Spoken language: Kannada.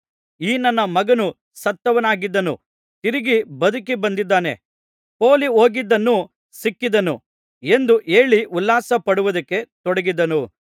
ಈ ನನ್ನ ಮಗನು ಸತ್ತವನಾಗಿದ್ದನು ತಿರುಗಿ ಬದುಕಿ ಬಂದಿದ್ದಾನೆ ಪೋಲಿಹೋಗಿದ್ದನು ಸಿಕ್ಕಿದನು ಎಂದು ಹೇಳಿ ಉಲ್ಲಾಸಪಡುವುದಕ್ಕೆ ತೊಡಗಿದರು